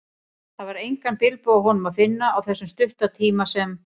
Það var engan bilbug á honum að finna, á þessum stutta tíma sem